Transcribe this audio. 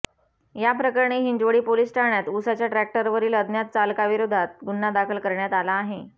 याप्रकरणी हिंजवडी पोलीस ठाण्यात उसाच्या टॅक्टरवरील अज्ञात चालकाविरोधात गुन्हा दाखल करण्यात आला आहे